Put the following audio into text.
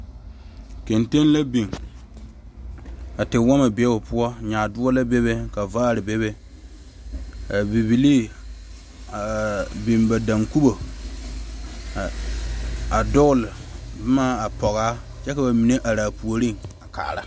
Gantige la biŋ ka tewomo be o poɔ nyaadoɔ la bebe ka vaare bebe a bibile biŋ ba dankomo a dogle boma a poɔ a kyɛ kyɛ bamine are a puori a kaara.